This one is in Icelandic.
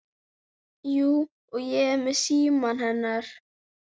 Jú, og ég er með símann hennar.